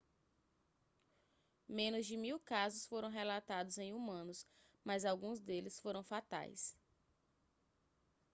menos de mil casos foram relatados em humanos mas alguns deles foram fatais